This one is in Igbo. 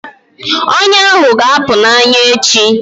Ọnya ahụ ga-apụ na anya echi